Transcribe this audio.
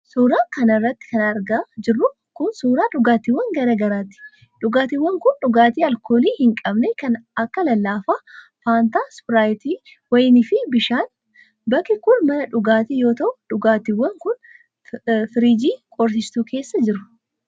Suura kana irratti kan argaa jirru kun, suura dhugaatiiwwan garaa garaati. Dhugaatiiwwan kun ,dhugaatii alkoolii hin qabne kan akka:lallaafaa faantaa, ispiraayitii, wayinaa fi bishaan. Bakki kun, mana dhugaatii yoo ta'u ,dhugaatiiwwan kun firiijii qorrisiistuu keessa jiru.